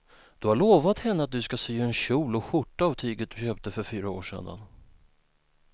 Du har lovat henne att du ska sy en kjol och skjorta av tyget du köpte för fyra år sedan.